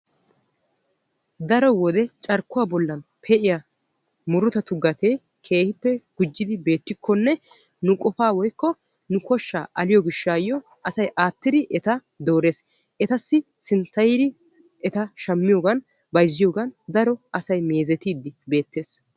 daro wode carkkuwa bollan pee'iya murutatu gatee keehippe gujjidi beettikonne nu qofaa woyikko nu koshshaa aliyo gishshaayyo asay aattidi eta doores. etassi sinttayidi eta shammiyogan bayizziyogan daro asay meezetiiddi beettes.